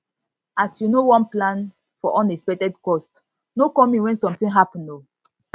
as you no wan plan for unexpected cost no call me wen something happen o